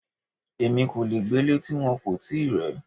Èmi ò le gbélé ti wọn kò tíì rẹ̀ ẹ́.